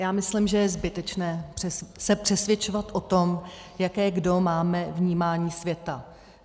Já myslím, že je zbytečné se přesvědčovat o tom, jaké kdo máme vnímání světa.